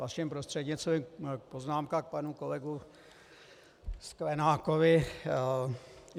Vaším prostřednictvím poznámka k panu kolegovi Sklenákovi.